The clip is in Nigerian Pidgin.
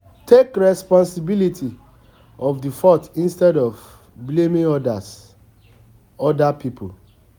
Take responsibilty of di fault instead of blaming oda oda people